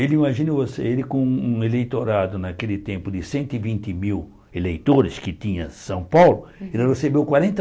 Ele, imagina você, ele com um eleitorado naquele tempo de cento e vinte mil eleitores que tinha São Paulo, ele recebeu quarenta